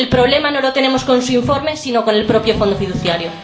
El problema no lo tenemos con su informe, sino con el propio fondo fiduciario.